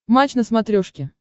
матч на смотрешке